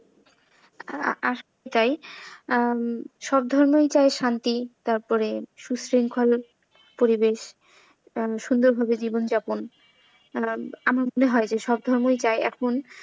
আসলেই তাই সব ধর্ম চায় শান্তি, তারপরে সুশৃংখল পরিবেশ, সুন্দরভাবে জীবন যাপন আমার মনে হয় যে সব ধর্মই চায় এখন।